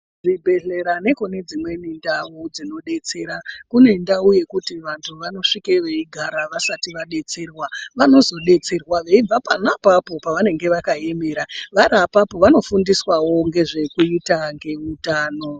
Zvibhedhlera nekune dzimweni ndau dzinodetsera, kune ndau yekuti vantu vanosvike veigara vasati vadetserwa. Vanozodetserwa veibve pona apapo pavanenge vakaemera. Vari apapo vanofundiswawo ngezvekuita ngeutano.